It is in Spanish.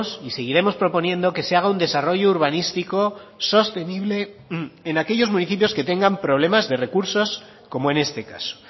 y seguiremos proponiendo que se haga un desarrollo urbanístico sostenible en aquellos municipios que tengan problemas de recursos como en este caso